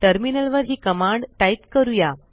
टर्मिनलवर ही command type करूया